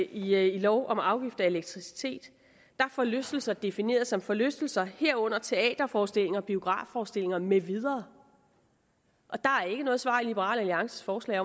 i lov om afgifter af elektricitet er forlystelser defineret som forlystelser herunder teaterforestillinger og biografforestillinger med videre og der er ikke noget svar i liberal alliances forslag